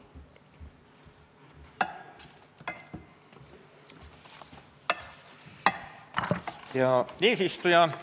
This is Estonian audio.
Hea eesistuja!